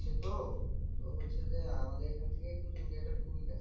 হচ্ছে তো তো হচ্ছে যে, আমাদের এখান থেকে কিন্তু India টা খুবই কাছে।